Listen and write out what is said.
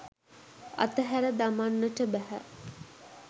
අතහැර දමන්නට බැහැ.